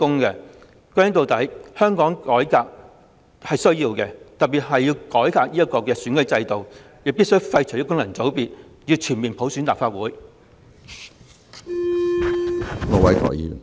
歸根結底，香港是需要改革的，特別是選舉制度，我們必須廢除功能界別及全面普選立法會。